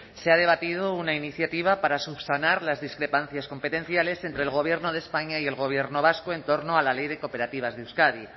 se ha debatido una iniciativa para subsanar las discrepancias competenciales entre el gobierno de españa y el gobierno vasco en torno a la ley de cooperativas de euskadi